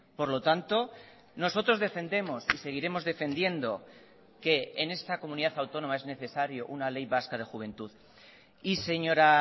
por lo tanto nosotros defendemos y seguiremos defendiendo que en esta comunidad autónoma es necesario una ley vasca de juventud y señora